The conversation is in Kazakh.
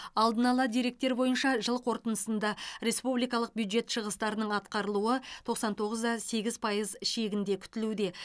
алдын ала деректер бойынша жыл қорытындысында республикалық бюджет шығыстарының атқарылуы тоқсан тоғыз да сегіз пайыз шегінде күтілуде